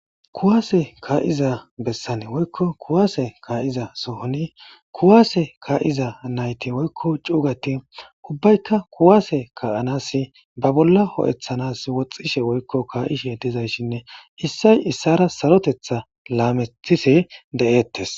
Kuwase kaa'iza bessan woykko kuwase kaa'iza sohoni kuwase kaa'iza nayti woykko cugati ubbaykka kuwase ka'anas ba bolla ho'ethanas woxxishe woykko kaa'ishe dizayssinne issay issara sarotetha laamethisi de'ettes.